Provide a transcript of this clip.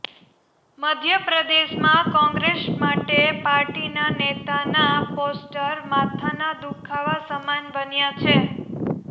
મધ્ય પ્રદેશમાં કોંગ્રેસ માટે પાર્ટીના નેતોના પોસ્ટર માથાના દુખાવા સમાન બન્યા છે